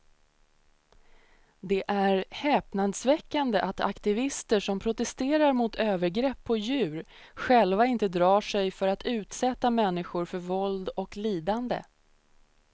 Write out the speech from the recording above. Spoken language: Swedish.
Det är häpnadsväckande att aktivister som protesterar mot övergrepp på djur själva inte drar sig för att utsätta människor för våld och lidande.